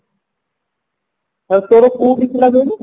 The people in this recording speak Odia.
ଆଉ ତୋର କୋଉଠି ଥିଲା ହିଲୁ